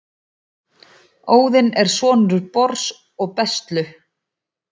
óðinn er sonur bors og bestlu